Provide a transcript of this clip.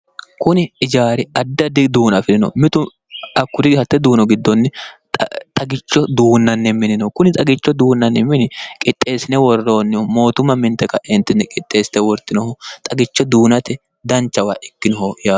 kuni ijaari adda di duuna afi'rino mitu akkuri hatte duuno giddonni xagicho duunnanni minino kuni xagicho duunnanni mini qixxeessine worroonnihu mootuma minte ka'eentinni qixxeessite wortinoho xagicho duunate danchawa ikkinoho yaa